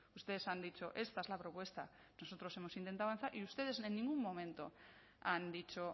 ustedes han dicho esta es la propuesta nosotros hemos intentado avanzar y ustedes en ningún momento han dicho